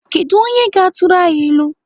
Kedụ onye ga-atụrụ anyị ilu?